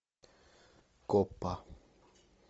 копа